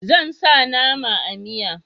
Zan sa nama a miya